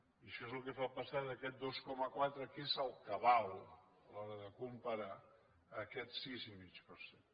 i això és el que fa passar d’aquest dos coma quatre que és el que val a l’hora de comparar a aquest sis i mig per cent